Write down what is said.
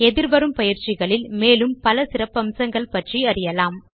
எதிர்வரும் பயிற்சிகளில் மேலும் பல சிறப்பம்சங்களைப் பற்றி அறியலாம்